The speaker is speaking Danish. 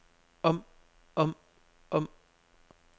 om om om